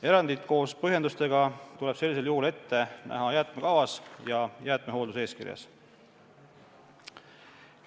Erandid koos põhjendustega tuleb sellisel juhul ette näha jäätmekavas ja jäätmehoolduse eeskirjas.